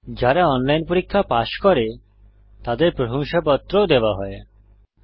যারা অনলাইন পরীক্ষা পাস করে তাদের প্রশংসাপত্র সার্টিফিকেট ও দেওয়া হয়